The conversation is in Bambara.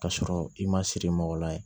K'a sɔrɔ i ma siri mɔgɔ la ye